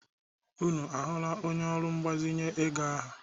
Unu ahụla onye ọrụ mgbazinye ego ahụ?